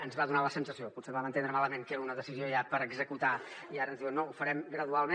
ens va fer la sensació potser ho vam entendre malament que era una decisió ja per executar i ara ens diuen no ho farem gradualment